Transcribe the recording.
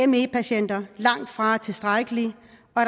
me patienter langtfra er tilstrækkelig